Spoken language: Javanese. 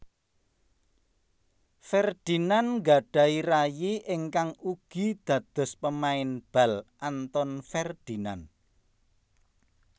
Ferdinand nggadhahi rayi ingkang ugi dados pemain bal Anton Ferdinand